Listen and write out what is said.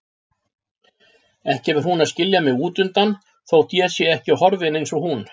Ekki fer hún að skilja mig útundan þótt ég sé ekki horfinn eins og hún.